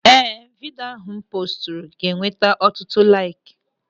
Ee, vidio ahụ m poosturu ga-enweta ọtụtụ laiki.